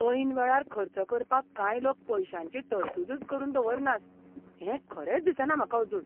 ऐन वेळार खर्च करपाक कांय लोक पयशांची तरतूदच करून दवरनात हें खरेंच दिसना म्हाका आजून.